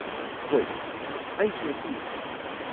ꯍꯣꯏ, ꯑꯩꯁꯨ ꯑꯁꯨꯝꯅ ꯈꯜꯂꯤ꯫